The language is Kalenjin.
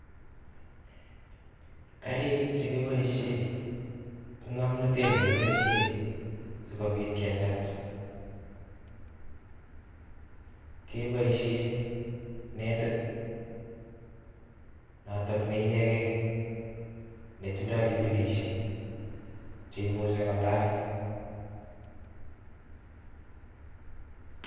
Karik che kiboishe ak ng'omnotet ne kibaishe sigobiit ketaach, kebaishe netit notok ne inegei netindoi kibinishek cheimuchi kotal.